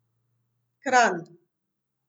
Kranj.